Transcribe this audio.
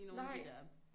Nej